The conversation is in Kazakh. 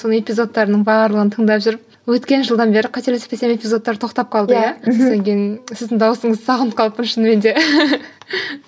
соның эпизодтарының барлығын тыңдап жүріп өткен жылдан бері қателеспесем эпизодтар тоқтап қалды иә мхм сосын кейін сіздің дауысыңызды сағынып қалыппын шынымен де